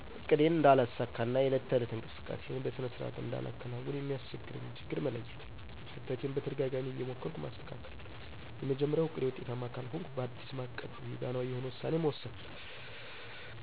እቅዴን እነዳለሳካ እና የዕለት ተዕለት እንቅስቃሴየን በሰነ ስርዓት እንዳላከናውን የሚያሰቸግረኝን ችግር መለየት። ከፍተቴን በተደጋጋማ እየሞከርሁ ማሰተካከል። የመጀመርያው እቅዴ ውጤታማ ካልሆንሁ ባዲስ ማቀድ ሚዛናዊ የሆነ ውሳኔ መወሰን።